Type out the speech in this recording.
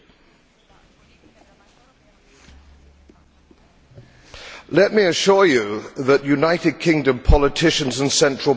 Let me assure you that United Kingdom politicians and central bankers are no less stupid than the people out here or the people in Washington.